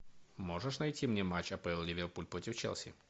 можешь найти мне матч апл ливерпуль против челси